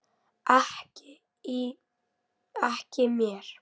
Ekki mér.